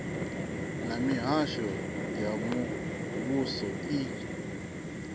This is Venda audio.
na mihasho ya muvhuso i